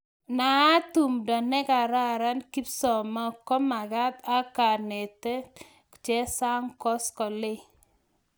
Naaat tumdo nekararan kipsamoo komakat ak kenet chesang kongolsey.